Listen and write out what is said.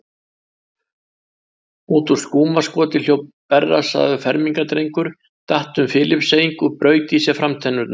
Út úr skúmaskoti hljóp berrassaður fermingardrengur, datt um Filippseying og braut í sér framtennurnar.